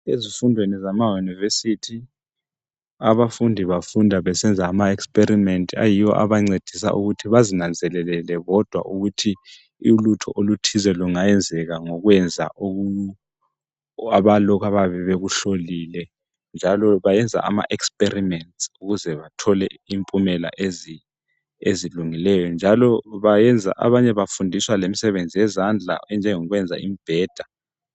Ezifundweni zemayunivesithi abafundi bafunda besenza amaexperiments ayiwo abancedisa ukuthi bazinanzelelele bodwa ukuthi ulutho oluthize lungayenzeka ngokwenza lokhu abayabe bekuhlolile njalo bayenza amaexperiments ukuze bathole impumela ezilungileyo njalo abanye bafundiswa lemisebenzi yezandla enjengokwenza imibheda.